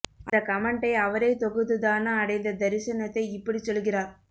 அந்த கமெண்டை அவரே தொகுத்து தான அடைந்த தரிசனத்தை இப்படிச் சொல்கிறார்